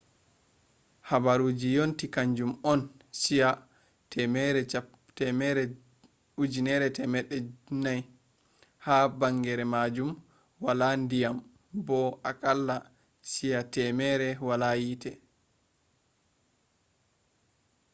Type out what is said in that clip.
habaruji yonti kanjum on chi'a 9400 ha bangeere majum wala diyam bo akalla chi'a 100 wala yite